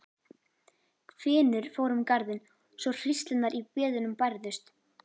Hvinur fór um garðinn svo hríslurnar í beðunum bærðust.